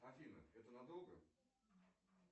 афина это надолго